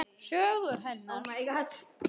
Sögu hennar.